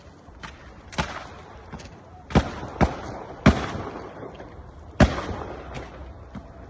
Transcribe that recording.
Bir sıra atış səsləri eşidilir.